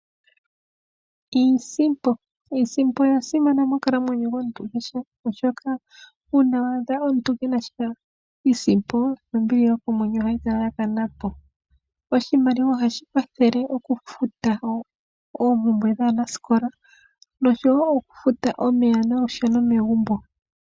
Iisimpo, iisimpo oya simana monkalamwenyo yomuntu kehe oshoka uuna waadha omuntu kuna iisimpo nombili yokomwenyo ohayi kala kala ya kana p. Oshimaliwa ohashi kwathele okufuta oompumbwe dhaanasikola oshowo okufuta omeya nolusheno megumbo.